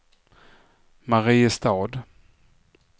Mariestad